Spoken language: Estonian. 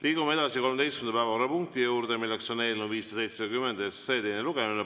Liigume 13. päevakorrapunkti juurde: eelnõu 570 teine lugemine.